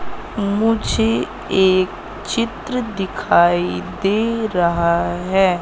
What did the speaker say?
मुझे एक चित्र दिखाई दे रहा है।